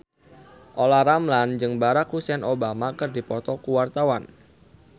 Olla Ramlan jeung Barack Hussein Obama keur dipoto ku wartawan